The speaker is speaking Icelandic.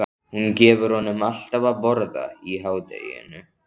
Hún gefur honum alltaf að borða í hádeginu.